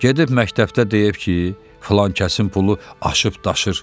Gedib məktəbdə deyib ki, filankəsin pulu aşıb daşır.